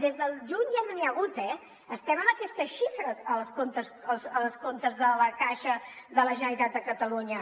des del juny ja no n’hi ha hagut eh estem amb aquestes xifres als comptes de la caixa de la generalitat de catalunya